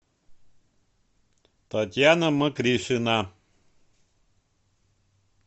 татьяна мокришина